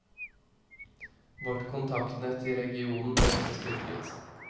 Vårt kontaktnett i regionen ble også styrket.